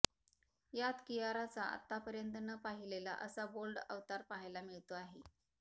यात कियाराचा आतापर्यंत न पाहिलेला असा बोल्ड अवतार पहायला मिळतो आहे